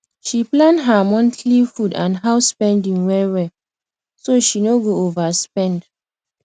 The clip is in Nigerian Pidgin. she plan her monthly food and house spending wellwell so she no go overspend